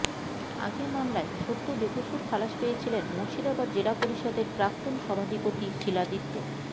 আগের মামলায় সদ্য বেকসুর খালাস পেয়েছিলেন মুর্শিদাবাদ জেলা পরিষদের প্রাক্তন সভাধিপতি শিলাদিত্য